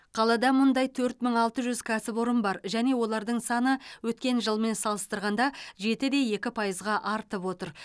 қалада мұндай төрт мың алты жүз кәсіпорын бар және олардың саны өткен жылмен салыстырғанда жеті де екі пайызға артып отыр